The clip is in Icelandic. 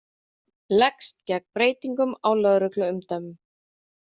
Leggst gegn breytingum á lögregluumdæmum